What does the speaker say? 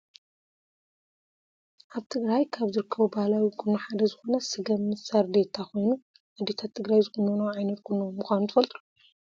ኣብ ትግራይ ካብ ዝርከቡ ባህላዊ ቆኖ ሓደ ዝኮነ ስገም ምስ ሳርዴታ ኮይኑ ኣዴታት ትግራይ ዝቁኖኖኦ ዓይነት ቁኖ ምኳኑ ትፈልጡ ዶ ?